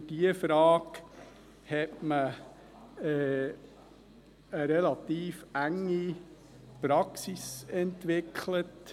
Für diese Frage hat man eine relativ enge Praxis entwickelt.